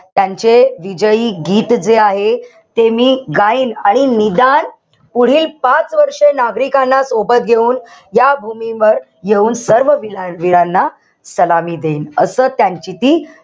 त्यांचे विजयी गीत जे आहे ते मी गाईन. आणि निदान पुढील पाच वर्ष नागरिकांना सोबत घेऊन या भूमीवर घेऊन सर्व वीरांना सलामी देईन. असं त्यांची ती,